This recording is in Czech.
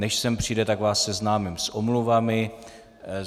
Než sem přijde, tak vás seznámím s omluvami.